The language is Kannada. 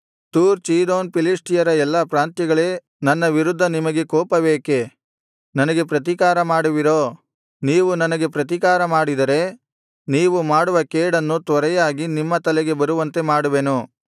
ತೂರ್ ಚೀದೋನ್ ಫಿಲಿಷ್ಟಿಯರ ಎಲ್ಲಾ ಪ್ರಾಂತ್ಯಗಳೇ ನನ್ನ ವಿರುದ್ಧ ನಿಮಗೆ ಕೋಪವೇಕೆ ನನಗೆ ಪ್ರತಿಕಾರ ಮಾಡುವಿರೋ ನೀವು ನನಗೆ ಪ್ರತಿಕಾರ ಮಾಡಿದರೆ ನೀವು ಮಾಡುವ ಕೇಡನ್ನು ತ್ವರೆಯಾಗಿ ನಿಮ್ಮ ತಲೆಗೆ ಬರುವಂತೆ ಮಾಡುವೆನು